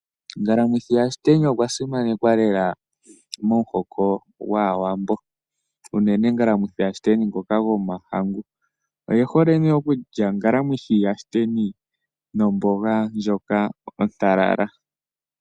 Ngalamwithi yashiteni okwasimanekwa lela momuhoko gwaawambo. Unene ngalamwithi yashiteni ngoka gomahangu. Oye hole nee okulya ngalamwithi yashiteni nomboga ndjoka ontalala.